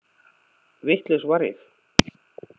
Vitlaus var ég.